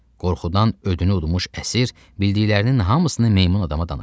Qorxudan ödünü udmuş əsir bildiklərinin hamısını meymun adama danışdı.